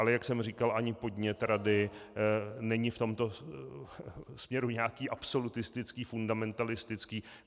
Ale jak jsem říkal, ani podnět rady není v tomto směru nějaký absolutistický, fundamentalistický.